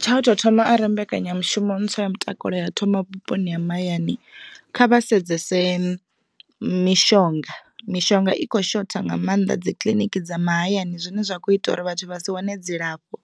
Tsha u tou thoma arali mbekanyamushumo ntswa ya mutakalo ya thoma vhuponi ha mahayani kha vha sedzese mishonga. Mishonga i kho shotha nga maanḓa dzikiḽiniki dza mahayani zwine zwa kho ita uri vhathu vha si wane dzilafho,